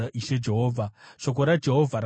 Shoko raJehovha rakasvika kwandiri richiti,